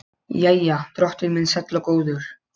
Jæja, drottinn minn sæll og góður.